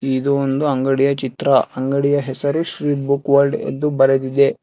ಇದು ಒಂದು ಅಂಗಡಿಯ ಚಿತ್ರ ಅಂಗಡಿಯ ಹೆಸರು ಶ್ರೀ ಬುಕ್ ವಲ್ಡ್ ಎಂದು ಬರೆದಿದೆ.